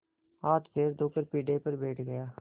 हाथपैर धोकर पीढ़े पर बैठ गया